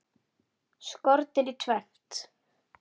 Skornir í tvennt.